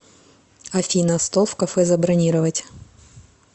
афина стол в кафе забронировать